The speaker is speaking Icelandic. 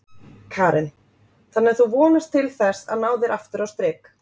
Karen: Þannig að þú vonast til þess að ná þér aftur á strik?